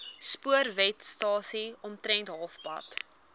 spoorwegstasie omtrent halfpad